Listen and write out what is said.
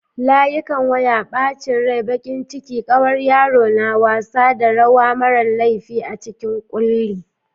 Layukan waya, ɓacin rai-bakin ciki, ƙawar yaro na wasa, da rawa marar laifi a cikin ƙulli.